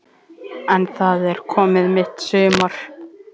En það er komið mitt sumar!